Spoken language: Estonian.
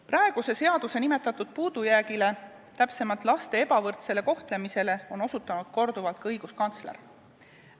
Praeguse seaduse puudujäägile, täpsemalt laste ebavõrdsele kohtlemisele, on osutanud korduvalt ka õiguskantsler.